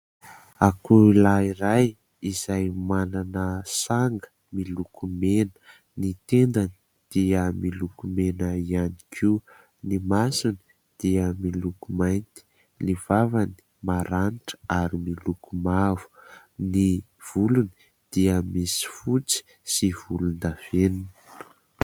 Akoho lahy iray izay manana sanga miloko mena. Ny tendany dia miloko mena ihany koa, ny masony dia miloko mainty, ny vavany maranitra ary miloko mavo, ny volony dia misy fotsy sy volondavenona.